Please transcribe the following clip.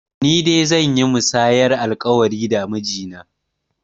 Ni dai zan yi musayar alƙawari da miji na